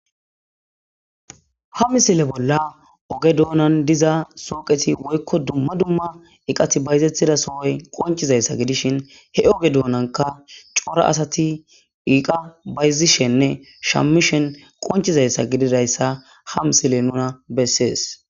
Ha misile bolla oge dunan diza suyiqezi woyko duma duma ekati bayzetiza sohoy qonci zaysa gidishin he oge dunanka cora asati eqa bayzishenne shamishen qoncizaysa gidizaysa hamisiley nuna beses.